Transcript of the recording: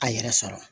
A yɛrɛ sɔrɔ